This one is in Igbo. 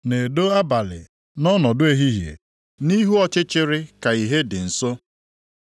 na-edo abalị nʼọnọdụ ehihie; nʼihu ọchịchịrị ka ìhè dị nso.